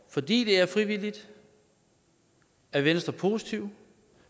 fordi det er frivilligt er venstre positive